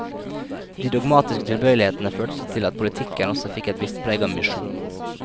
De dogmatiske tilbøyelighetene førte til at politikken også fikk et visst preg av misjon.